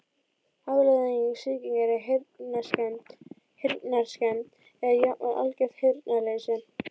Afleiðing sýkingar er heyrnarskemmd eða jafnvel algert heyrnarleysi.